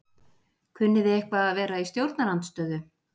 Kunnið þið eitthvað að vera í stjórnarandstöðu?